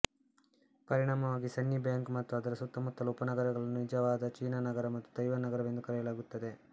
ಪರಿಣಾಮವಾಗಿ ಸನ್ನಿಬ್ಯಾಂಕ್ ಮತ್ತು ಅದರ ಸುತ್ತಮುತ್ತಲ ಉಪನಗರಗಳನ್ನು ನಿಜವಾದ ಚೀನಾನಗರ ಮತ್ತು ತೈವಾನ್ ನಗರವೆಂದು ಕರೆಯಲಾಗುತ್ತದೆ